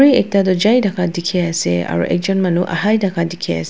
ekta tu jaii thaka dikhi ase aro ekjun manu ahai thaka dikhi ase.